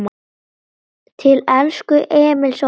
Til elsku Emils okkar.